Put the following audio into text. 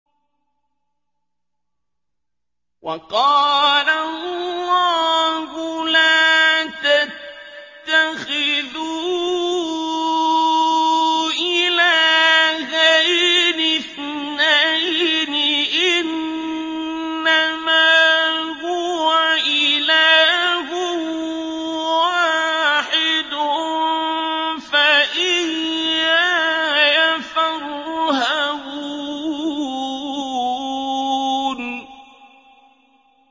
۞ وَقَالَ اللَّهُ لَا تَتَّخِذُوا إِلَٰهَيْنِ اثْنَيْنِ ۖ إِنَّمَا هُوَ إِلَٰهٌ وَاحِدٌ ۖ فَإِيَّايَ فَارْهَبُونِ